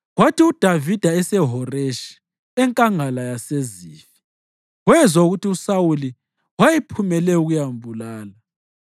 Kwathi uDavida eseHoreshi eNkangala yaseZifi, wezwa ukuthi uSawuli wayephumele ukuyambulala.